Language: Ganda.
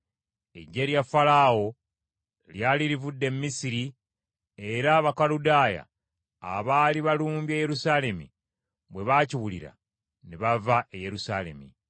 Eggye lya Falaawo lyali livudde e Misiri era Abakaludaaya abaali balumbye Yerusaalemi bwe baakiwulira, ne bava e Yerusaalemi.